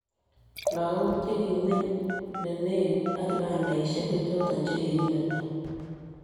lakok che kimeny ne legit ak kibandesheck ko choto chekikimeto